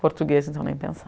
Português, então, nem pensar.